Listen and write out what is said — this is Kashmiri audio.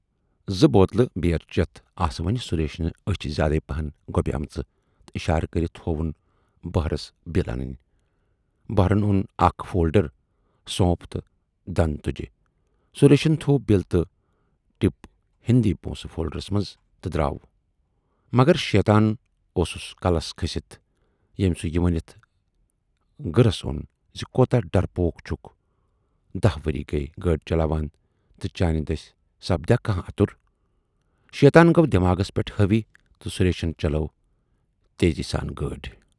زٕ بوتلہٕ بیٖر چٮ۪تھ آسہٕ وۅنۍ سُریشنہِ ٲچھۍ زیادے پہن گۅبے مژٕ تہٕ اِشارٕ کٔرِتھ ہووُن بہرس بِل انٕنۍ۔ بہرن اون اکھ فولڈر، سونپ تہٕ دَند تِجہٕ۔ سُریشن تھٔوۍ بِل تہٕ ٹِپ ہٕندۍ پونسہٕ فولڈرس منز تہٕ دراو۔ مگر شیطان اوسُس کلس کھٔسِتھ ییمۍ سُہ یہِ ؤنِتھ گٕرس اون زِ کوٗتاہ ڈرپوک چھُکھ دٔہ ؤری گٔیی گٲڑۍ چلاوان تہٕ چانہِ دٔسۍ سپدیا کانہہ اَتُر؟ شیطان گَو دٮ۪ماغس پٮ۪ٹھ ہٲوی تہٕ سُریشن چلٲو تیزی سان گٲڑۍ۔